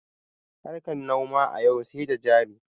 Harkan noma a yau sai da jari